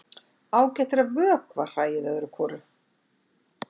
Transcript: Ágætt er að vökva hræið öðru hvoru.